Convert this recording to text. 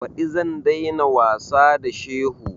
Ɓadi zan dai na wasa da shehu